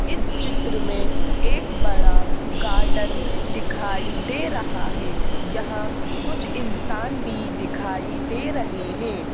इस चित्र में एक बड़ा गार्डन दिखाई दे रहा है यहां कुछ इंसान भी दिखाई दे रहे हैं।